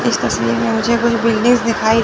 इस तस्वीर में मुझे कुछ बिल्डिंग्स दिखाई--